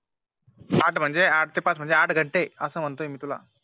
आठ म्हणजे आठ ते पाच म्हणजे आठ घंटे असं म्हणतो मी तुला